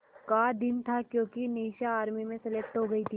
का दिन था क्योंकि निशा आर्मी में सेलेक्टेड हो गई थी